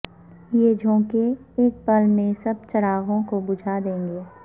یہ جھونکے ایک پل میں سب چراغوں کو بجھا دیں گے